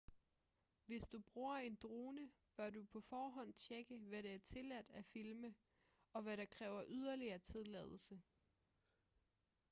hvis du bruger en drone bør du på forhånd tjekke hvad det er tilladt at filme og hvad der kræver yderligere tilladelse